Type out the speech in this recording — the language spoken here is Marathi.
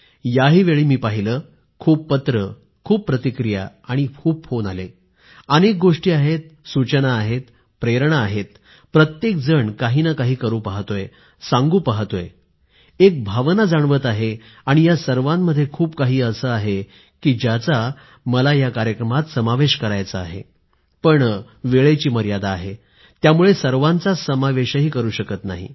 याही वेळी मी पाहिलंय खूप पत्रे प्रतिक्रिया फोन आले आहेत अनेक गोष्टी आहेत सूचना आहेत प्रेरणा आहेप्रत्येक जण काही ना काही करू पाहतोय सांगू पाहतोय एक भावना जाणवत आहे आणि या सर्वामध्ये खूप काही असे आहे की ज्याचा मला समावेश करायचा आहे पण वेळेची मर्यादा आहे त्यामुळे सर्वाचाच समावेशही करू शकत नाही